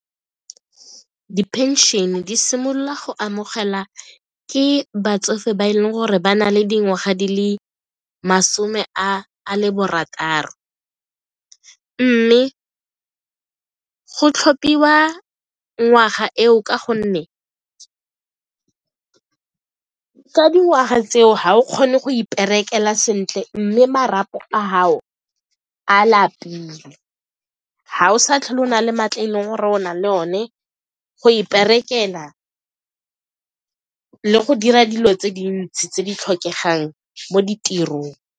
Di-pension-e di simolola go amogela ke batsofe ba e leng gore ba na le dingwaga di le masome a le barataro mme go tlhophiwa ngwaga eo ka gonne ka dingwaga tseo ga o kgone go iperekela sentle mme marapo a gao a lapile, ga o sa tlhole o na le maatla e leng gore o na le one go iperekela le go dira dilo tse dintsi tse di tlhokegang mo ditirong.